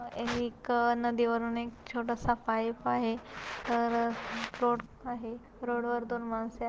एक नदीवरून एक छोटासा पाइप आहे तर रोड आहे रोड वर माणस--